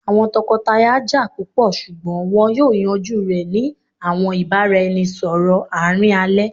awọn tọkọtaya ja pupọ ṣugbọn wọn yoo yanju rẹ ni awọn ibaraẹnisọrọ aarin alẹ